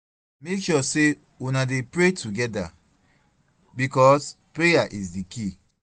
mek sure sey una dey pray togeda bikos prayer is di key